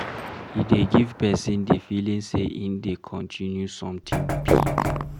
E dey give person di feeling sey im dey continue something big